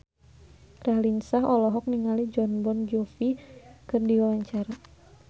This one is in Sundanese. Raline Shah olohok ningali Jon Bon Jovi keur diwawancara